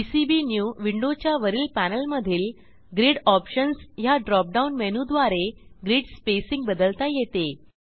PCB new विंडोच्या वरील पॅनेलमधील ग्रिड ऑप्शन्स ह्या ड्रॉप डाऊन मेनूद्वारे ग्रीड स्पेसिंग बदलता येते